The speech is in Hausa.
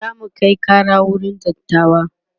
zamu Kai Kara wurin dattawa